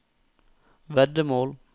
veddemål